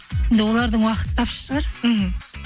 енді олардың уақыты тапшы шығар мхм